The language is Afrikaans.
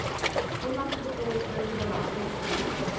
onlangse betaalstrokie belastingaanslag